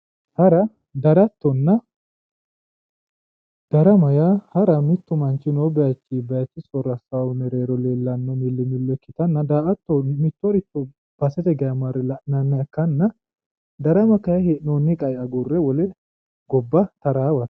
Hara darattonna darama yaa hara mittu manchi noo bayichi bayichu soorro assayi mereero millimmillo ikkitanna mittoricho basete geeshsha marre la'nanniha ikkanna darama kayinni hee'noonni base agurre taraawate yaate